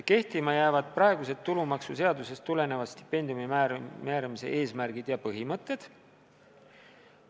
Kehtima jäävad praegused tulumaksuseadusest tulenevad stipendiumi määramise eesmärgid ja põhimõtted.